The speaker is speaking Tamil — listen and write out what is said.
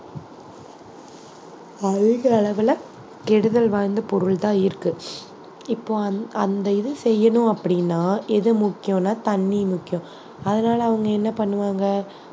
அழுகற அளவுல கெடுதல் வாய்ந்த பொருள்தான் இருக்கு இப்போ அந்~ அந்த இது செய்யணும் அப்படின்னா எது முக்கியம்னா தண்ணி முக்கியம் அதனாலே அவங்க என்ன பண்ணுவாங்க